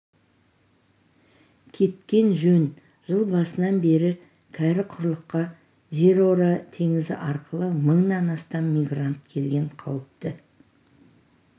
кеткен жөн жыл басынан бері кәрі құрлыққа жерора теңізі арқылы мыңнан астам мигрант келген қауіпті